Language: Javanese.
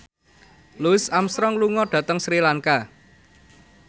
Louis Armstrong lunga dhateng Sri Lanka